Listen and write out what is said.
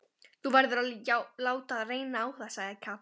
Þú verður að láta reyna á það, sagði Katrín.